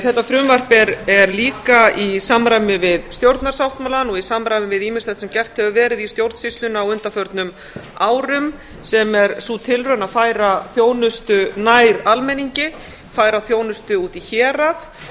þetta frumvarp er líka í samræmi við stjórnarsáttmálann og í samræmi við ýmislegt sem gert hefur verið í stjórnsýslunni á undanförnum árum sem er sú tilraun að færa þjónustu nær almenningi færa þjónustu út í hérað